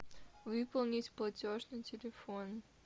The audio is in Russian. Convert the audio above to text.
выполнить платеж на телефон